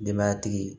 Denbayatigi